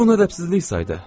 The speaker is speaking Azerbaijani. O bunu rəbzsizlik saydı.